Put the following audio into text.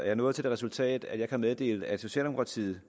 jeg nået til det resultat at jeg kan meddele at socialdemokratiet